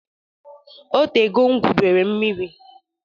O tego m gwubere mmiri.